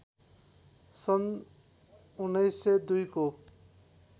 सन् १९०२ को